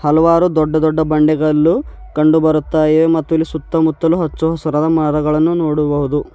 ಹಲವಾರು ದೊಡ್ಡ ದೊಡ್ಡ ಬಂಡೆಗಲ್ಲು ಕಂಡು ಬರುತ್ತಾ ಇವೆ ಮತ್ತು ಇಲ್ಲಿ ಸುತ್ತಮುತ್ತಲು ಹಚ್ಚ ಹಸಿರದ ಮರಗಳನ್ನು ನೋಡಬಹುದು.